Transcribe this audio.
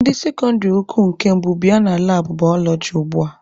Ndị sekọndịrị ukwu nke mbụ bịa na labụ balọọji ugbua!